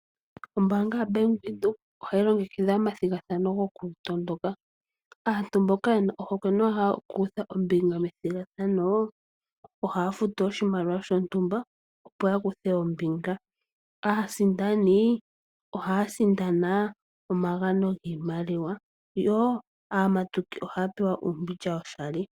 Ombaanga yaBank Windhoek ohayi longekidha omathigathano gokutondoka. Aantu mboka yena ohokwe noya hala okukutha ombinga momathigathano ohaya futu oshimaliwa shontumba opo yakuthe ombinga. Aasindani ohaya sindana omagano giimaliwa yo aamatuki ohaya pewa uumbilya woshali.